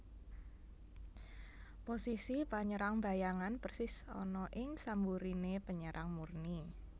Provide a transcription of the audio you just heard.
Posisi panyerang bayangan persis ana ing samburiné penyerang murni